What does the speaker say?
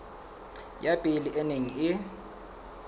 ya pele e neng e